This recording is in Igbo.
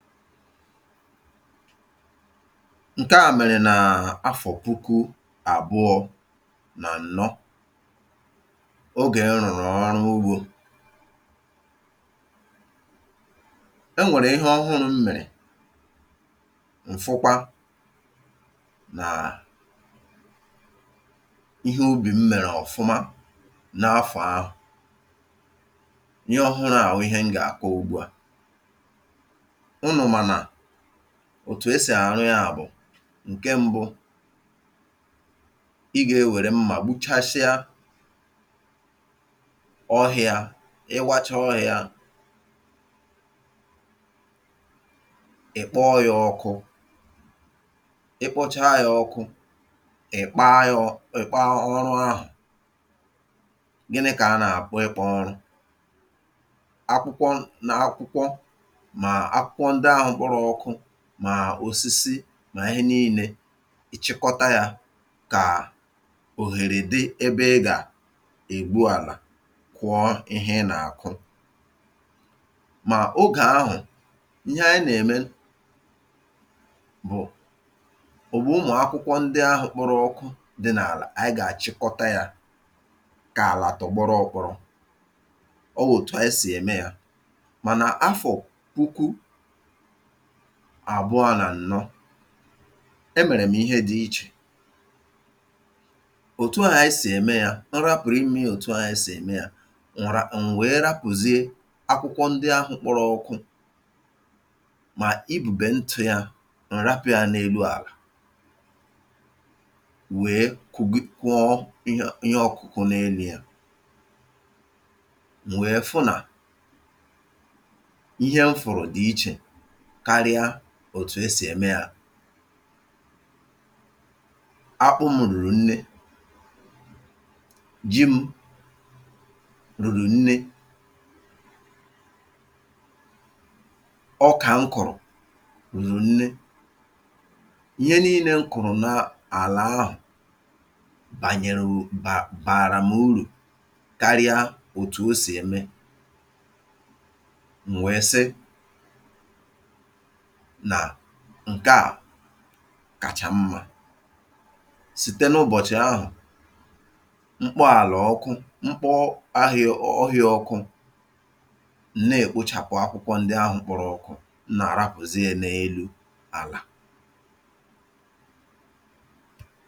Nkeà mèrè nà-afọ̀ puku àbụọ̇ nà ǹnọ̀, ogè m rụ̀rụ̀ ọwarụ ugbȯ. E nwèrè ihe ọhụrụ m mèrè, m fụkwa nàà ihe ubì m mèrè ọ̀fụma n’afọ̀ ahụ̀. Ihe ọhụrụ à wụ ihe m gà-àkọ ugbu a. Unu ma na òtù esì àrụ ya bụ̀ ǹke ṁbụ̇, ị gà-ewère mmà gbuchasịa ọhị̇ȧ, ị wachaa ọhị̇a, ị̀ kpoọ ya ọkụ, ị kpọchaa ya ọkụ, ị̀ kpaa ya ọ ị̀ kpaa ọrụ ahụ̀. Gịnị̇ kà a nà-àkpọ ị̀ kpọọ ọrụ, akwụkwọ na akwụkwọ ndị ahụ kpọrọ ọkụ mà osisi nà ihe niine, ị chịkọta yȧ kà òghèrè dị ebe ị gà ègbu àlà kụọ ihe ịnà-àkụ. Mà ogè ahụ̀, ihe anyị nà-ème bụ̀ ògbù ụmụ̀ akwụkwọ ndị ahụ̇ a kpọrọ ọkụ dị n’àlà, ànyị gà-àchịkọta yȧ kà àlà tọgbọrọ otu ahụ, ọ wụ̀ otu anyị sì ème yȧ. Mana afọ puku abụa nà ǹnọ, emèrè m̀ ihe dị̇ ichè. Otù ahụ̀ anyị sì ème yȧ, m rapụrụ imie ya òtù ahụ̀ anyị sì ème yȧ m wèe rapụzie akwụkwọ ndị ahụ̇ kpọrọ ọkụ mà ibùbe ntụ̇ yȧ, m rapụ ya n’elu àlà wèe kụgi kwụọ ihe ọkụ̇kụ̇ n’elu̇ yà, m wèe fụ nà ihe m fụrụ̀ dị̀ ichè karịa òtù e sì eme yȧ. Akpụ m̀ rùrù nne, ji m̀ rùrù nne, ọkà m kụ̀rụ̀ rùrù nne. Ihe niine m kụ̀rụ̀ n’ala ahụ̀ bànyẹ̀rẹ̀ bàrà m urù karịa òtù o sì eme. M wee sị nà ǹkeà kacha mmȧ. Site n’ụbọ̀chị̀ ahụ̀, m kpọọ àlà ọkụ m kpọ ahịȧ ọhịa ọkụ, m na-èkpochàpụ akwụkwọ ndị ahụ̇ kpọrọ ọ̀kụ, m nà-àrapụ̀zie n’elu̇ àlà.